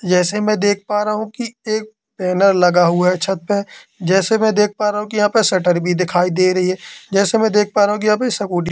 जैसे मैं देख पा रहा हूं कि एक बैनर लगा हुआ है छत पे जैसे मैं देख पा रहा हूं कि यहां पे शटर भी दिखाई दे रही है जैसे कि मैं देख पा रहा हूं कि यहां पे स्कूटी --